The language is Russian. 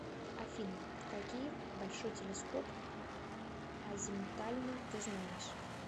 афина какие большой телескоп азимутальный ты знаешь